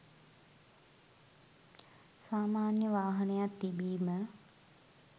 සාමාන්‍ය වාහනයක් තිබීම